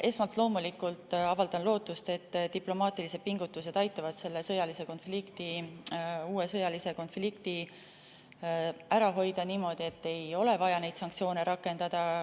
Esmalt loomulikult avaldan lootust, et diplomaatilised pingutused aitavad selle uue sõjalise konflikti ära hoida niimoodi, et ei ole vaja neid sanktsioone rakendada.